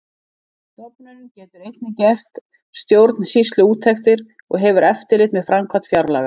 Stofnunin getur einnig gert stjórnsýsluúttektir og hefur eftirlit með framkvæmd fjárlaga.